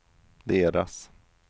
deras